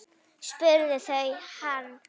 spurðu þau hann.